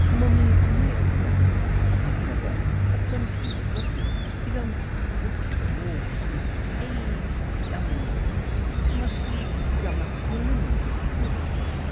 ꯃꯃꯤ ꯀꯨꯝꯍꯩ ꯑꯁꯤꯅ ꯑꯀꯛꯅꯕ ꯁꯛꯇꯝꯁꯤꯡ ꯑꯃꯁꯨꯡ ꯍꯤꯔꯝꯁꯤꯡ ꯎꯠꯈꯤꯕ ꯃꯑꯣꯡ ꯑꯁꯤ ꯑꯩ ꯌꯥꯝꯅ ꯅꯨꯡꯉꯥꯏꯇꯦ꯫ ꯃꯁꯤ ꯌꯥꯝꯅ ꯍꯧꯅꯂꯣꯟꯆꯠ ꯈꯪꯗꯕ ꯑꯣꯏꯈꯤ꯫